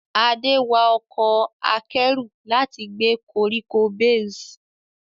Ade wa ọkọ̀ akẹ́rù láti gbé koríko bales.